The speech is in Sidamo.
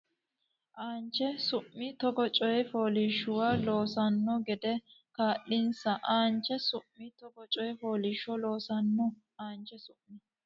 aanche su mi togoo coy fooliishshuwa loossanno gede kaa linsa aanche su mi togoo coy fooliishshuwa loossanno aanche su mi.